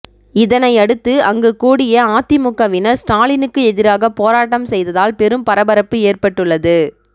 இதனையடுத்து அங்கு கூடிய அதிமுகவினர் ஸ்டாலினுக்கு எதிராக போராட்டம் செய்ததால் பெரும் பரபரப்பு ஏற்பட்டுள்ளது